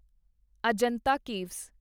Ajanta caves